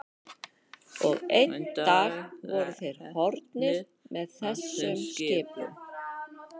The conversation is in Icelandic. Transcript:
Og einn dag voru þeir horfnir með þessum skipum.